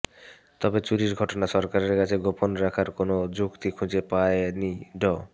তবে চুরির ঘটনা সরকারের কাছে গোপন রাখার কোনও যুক্তি খুঁজে পায়নি ড